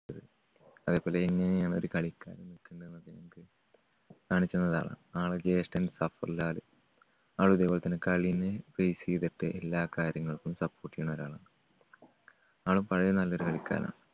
അതേപോലെ എങ്ങനെയാണ് ഒരു കളിക്കാരൻ കളിക്കണ്ടത് എന്നൊക്കെ ഞങ്ങൾക്ക് കാണിച്ചുതന്നതാണ്. ആൾടെ ജ്യേഷ്‌ഠൻ ഖത്തറിലാണ്. ആളും ഇതേപോലെ തന്നെ കളീനെ base ചെയ്തിട്ട് എല്ലാ കാര്യങ്ങൾക്കും support ചെയ്യുന്ന ഒരാളാണ്. ആളും പഴയ നല്ലൊരു കളിക്കാരനാണ്